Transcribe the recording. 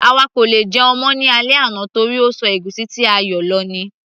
àwa kò lè jẹun mọ́ ní alẹ́ àná torí ó ṣọ ègúsí ti a yóò lò ní